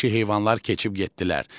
Bəhşi heyvanlar keçib getdilər.